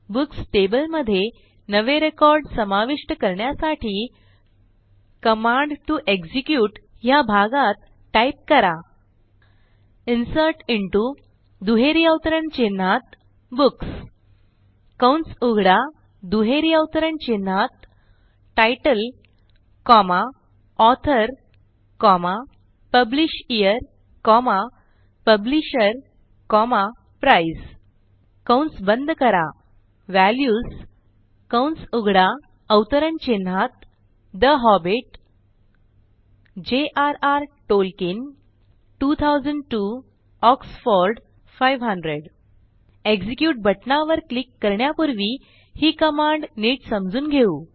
books table मधे नवे record समाविष्ट करण्यासाठी कमांड टीओ एक्झिक्युट ह्या भागात टाईप करा इन्सर्ट इंटो दुहेरी अवतरण चिन्हात बुक्स कंस उघडा दुहेरी अवतरण चिन्हात titleकॉमा ऑथर पब्लिशयर पब्लिशर प्राइस कंस बंद करा व्हॅल्यूज कंस उघडा अवतरण चिन्हातठे हॉबिट jrर टॉल्कियन 2002 ऑक्सफोर्ड 500 एक्झिक्युट बटणावर क्लिक करण्यापूर्वी ही कमांड नीट समजून घेऊ